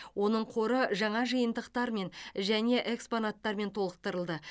оның қоры жаңа жиынтықтармен және экспонаттармен толықтырылды